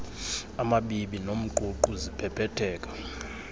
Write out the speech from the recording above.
amabibi nomququ ziphephetheka